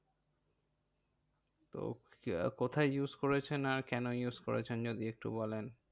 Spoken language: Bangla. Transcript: তো কোথায় use করেছেন? আর কেন use করেছেন, যদি একটু বলেন?